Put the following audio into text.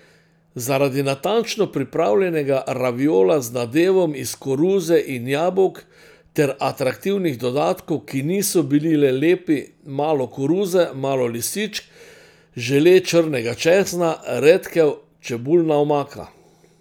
Zaradi natančno pripravljenega raviola z nadevom iz koruze in jabolk ter atraktivnih dodatkov, ki niso bili le lepi, malo koruze, malo lisičk, žele črnega česna, redkev, čebulna omaka.